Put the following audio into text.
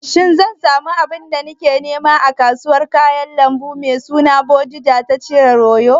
Shin zan samu abin da nake nema a kasuwar kayan lambu mai suna Bodija ta jihar Oyo?